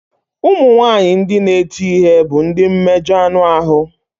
Ụmụ nwanyị ndị na-eti ihe bụ ndị mmejọ anụ ahụ.